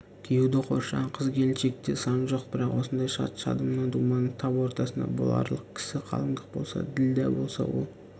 күйеуді қоршаған қыз-келіншекте сан жоқ бірақ осындай шат-шадыман думанның тап ортасында боларлық кісі қалыңдық болса ділдә болса ол